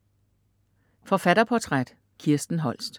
Forfatterportræt: Kirsten Holst